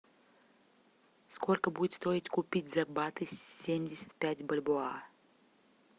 сколько будет стоить купить за баты семьдесят пять бальбоа